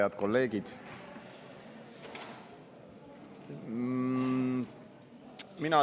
Head kolleegid!